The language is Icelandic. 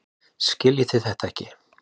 Skiljiði þetta ekki?